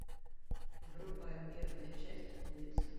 врубай первая часть улица